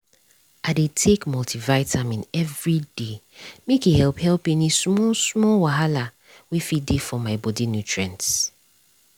i dey take multivitamin every day make e help help any small-small wahala wey fit dey for my body nutrients